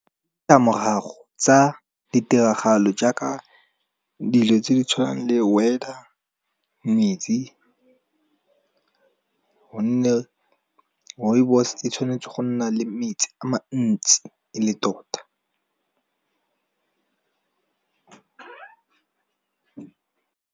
Di tlamorago tsa ditiragalo jaaka dilo tse di tshwanang le weather, metsi. Gonne Rooibos e tshwanetse go nna le metsi a mantsi e le tota.